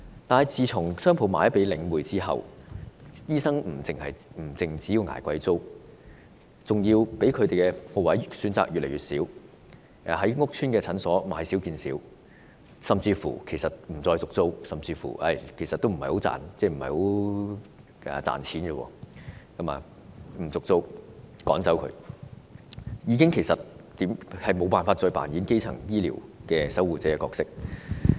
可是，商鋪賣給領匯之後，醫生不單要捱貴租，而且可供選擇的鋪位更越來越少，於是屋邨診所越來越少，甚至不獲續租，可能因為這個行業不太賺錢，所以不獲續租或被趕走，不能再擔當基層醫療守護者的角色。